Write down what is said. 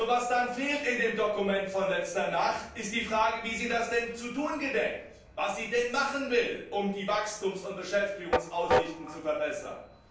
Was in dem Dokument von letzter Nacht jedoch fehlt, ist die Frage, wie sie das denn zu tun gedenkt, was sie denn machen will, um die Wachstums und Beschäftigungsaussichten zu verbessern.